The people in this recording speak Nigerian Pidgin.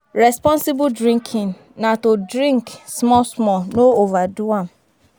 Responsible drinking na to drink small small, no overdo am